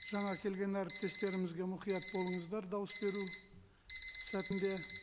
жаңа келген әріптестерімізге мұқият болыңыздар дауыс беру сәтінде